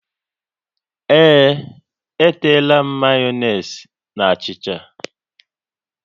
Ee, e teela m mayonezi na achịcha